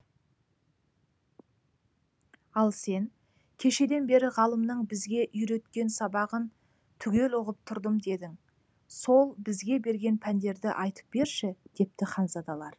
ал сен кешеден бері ғалымның бізге үйреткен сабағын түгел ұғып тұрдым дедің сол бізге берген пәндерді айтып берші депті ханзадалар